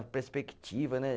A perspectiva, né?